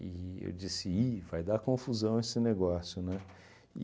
eu disse, ih vai dar confusão esse negócio, né?